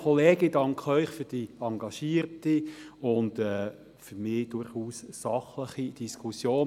Also, ich danke Ihnen für die engagierte und für mich durchaus sachliche Diskussion.